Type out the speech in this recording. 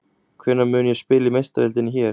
Hvenær mun ég spila í Meistaradeildinni hér?